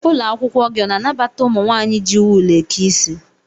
Ụlọakwụkwọ gị ọ na-anabata ụmụ nwaanyị iji wul eke isi?